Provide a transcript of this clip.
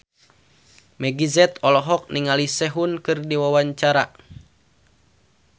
Meggie Z olohok ningali Sehun keur diwawancara